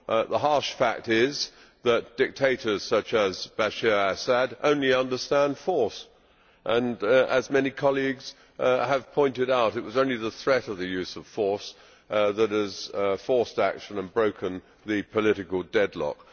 The harsh fact is that dictators such as Bashir al Assad only understand force and, as many colleagues have pointed out, it is only the threat of the use of force that has forced action and broken the political deadlock.